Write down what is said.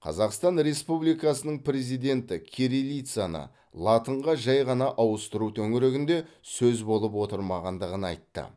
қазақстан республикасы президенті кирилицаны латынға жай ғана ауыстыру төңірегінде сөз болып отырмағандығын айтты